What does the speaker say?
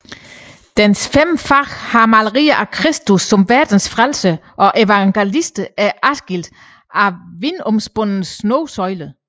Dens fem fag har malerier af Kristus som Verdens Frelser og evangelisterne og er adskilt af vinomvundne snosøjler